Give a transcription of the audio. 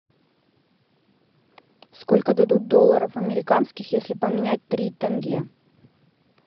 сколько дадут долларов американских если поменять три тенге